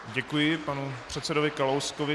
Děkuji panu předsedovi Kalouskovi.